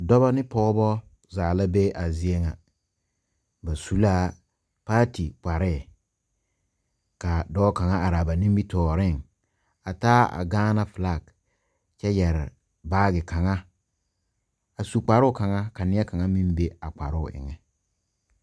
Dɔbɔ ne pɔɔbɔ zaa la be a zie ŋa ba su laa paati kparɛɛ kaa dɔɔ kaŋa are laa ba nimitooreŋ a taa a gaana flak kyɛ yɛre baagi kaŋa a su kparoo kaŋa ka nie kaŋa meŋ be kparoo eŋɛ.